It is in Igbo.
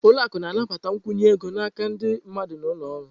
Ụlọ akụ na-anabata nkwụnye ego n'aka ndị mmadụ na ụlọ ọrụ.